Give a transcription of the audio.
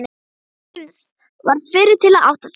Heinz varð fyrri til að átta sig.